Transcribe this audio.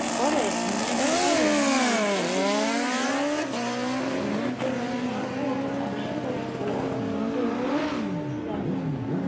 ore ina jungore naa keidimayu neeku ene ntooiwoi nabo ashu intoiwuo pokira are